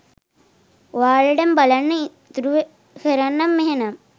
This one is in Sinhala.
ඔයාලටම බලන්න ඉතුරු කරන්නම් එහෙනම්.